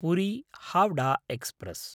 Puri Howrah express